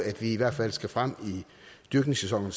at vi i hvert fald skal frem i dyrkningssæsonen